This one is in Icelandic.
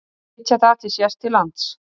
Sitja þar til sést til lands